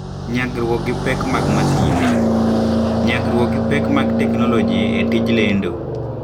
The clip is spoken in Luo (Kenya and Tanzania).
Nyagruok gi Pek mag Masinde: Nyagruok gi pek mag teknoloji e tij lendo.